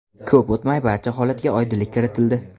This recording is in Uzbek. Ko‘p o‘tmay barcha holatga oydinlik kiritildi.